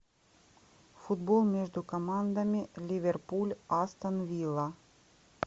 футбол между командами ливерпуль астон вилла